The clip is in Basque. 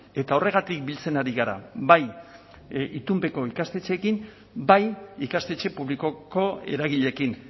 eta horregatik biltzen ari gara bai itunpeko ikastetxeekin bai ikastetxe publikoko eragileekin